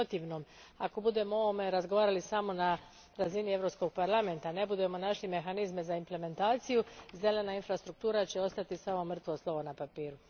U protivnom, ako budemo o ovome razgovarali samo na razini Europskog parlamenta i ne budemo našli mehanizme za implementaciju, zelena infrastruktura će ostati samo mrtvo slovo na papiru.